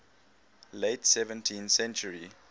late seventeenth century